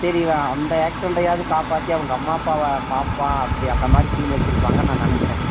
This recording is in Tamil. ஆமா சரி இவன் அந்த accident டாவது காப்பாத்தி அவங்க அம்மா அப்பாவ காப்பாத்தி அந்த மாதிரி சீன் வச்சிருப்பாங்கனூ நினைச்சேன்